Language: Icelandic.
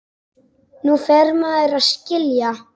Nú fer maður að skilja!